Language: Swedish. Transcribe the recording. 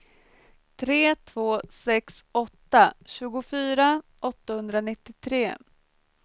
tre två sex åtta tjugofyra åttahundranittiotre